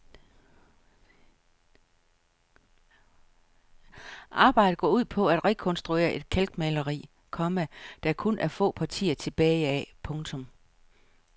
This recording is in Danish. Arbejdet går ud på at rekonstruere et kalkmaler, komma der kun er få partier tilbage af. punktum